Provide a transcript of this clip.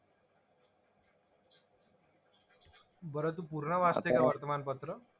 बरं तू पूर्ण वाचते का वर्तमानपत्र?